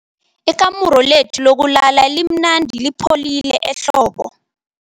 Ikamuru lethu lokulala limnandi lipholile ehlobo.